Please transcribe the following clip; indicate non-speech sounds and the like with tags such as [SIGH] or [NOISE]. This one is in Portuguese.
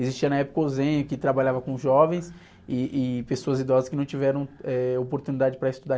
Existia na época o, [UNINTELLIGIBLE] que trabalhava com jovens e, e pessoas idosas que não tiveram, eh, oportunidade para estudar.